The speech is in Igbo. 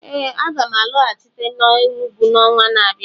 Ee, aga m alọghachite n'Enugwu n'ọnwa na-abịa